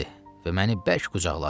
Və məni bərk qucaqladı.